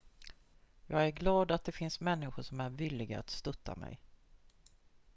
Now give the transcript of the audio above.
jag är glad att det finns människor som är villiga att stötta mig